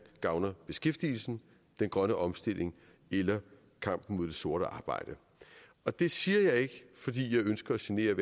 gavner beskæftigelsen den grønne omstilling eller kampen mod det sorte arbejde det siger jeg ikke fordi jeg ønsker at genere